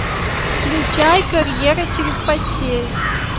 включай карьера через постель